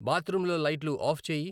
బాత్రూంలో లైట్లు ఆఫ్ చేయి